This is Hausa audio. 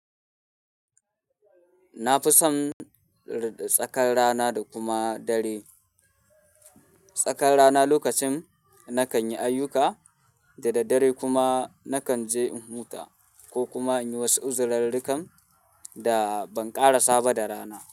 Na fi son tsakar rana da kuma dare. Tsakar rana lokacin na kan yi ayuka da dare kuma na kan je in huta ko kuma in yi wasu uzurarrukan da ban ƙara saba da rana.